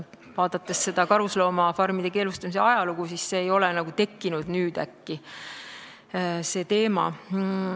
Vaadates karuloomafarmide keelustamise ajalugu, on selge, et see teema ei ole nüüd äkki tekkinud.